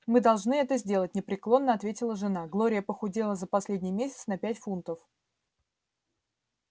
мы должны это сделать непреклонно ответила жена глория похудела за последний месяц на пять фунтов